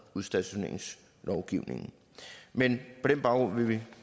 udstationeringslovgivningen men på den baggrund vil vi